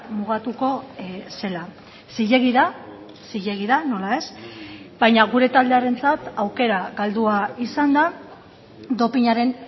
mugatuko zela zilegi da zilegi da nola ez baina gure taldearentzat aukera galdua izan da dopinaren